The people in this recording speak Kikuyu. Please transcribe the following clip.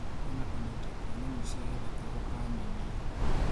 Kwina kũnyita kwa nyamũ cia gĩthaka gũkananie